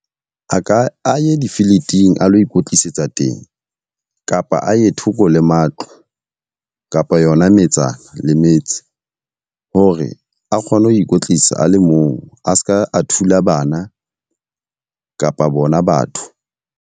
A ka, a ye difiliting a lo ikwetlisetsa teng. Kapa a ye thoko le matlo kapa yona metsana le metse hore a kgone ho ikwetlisa a le mong a seka a thula bana, kapa bona batho.